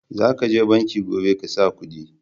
Za ka je banki gobe ka sa kudi